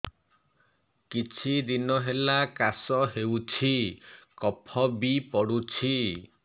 କିଛି ଦିନହେଲା କାଶ ହେଉଛି କଫ ବି ପଡୁଛି